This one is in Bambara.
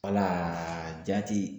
jaati